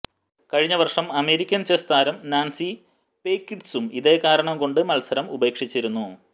കഴിഞ്ഞവർഷം American chess താരം Nazi പെയ്കിഡ്സും ഇതേകാരണംകൊണ്ട് മത്സരം ഉപേക്ഷിച്ചിരുന്നു